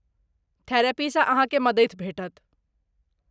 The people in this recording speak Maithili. थेरेपीसँ अहाँकेँ मदति भेटत।